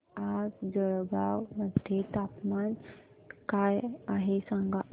आज जळगाव मध्ये तापमान काय आहे सांगा